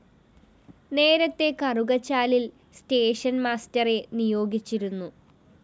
നേരത്തെ കറുകച്ചാലില്‍ station master നിയോഗിച്ചിരുന്നു